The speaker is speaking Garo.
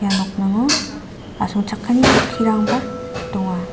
ia nokningo asongchakani chokkirangba donga.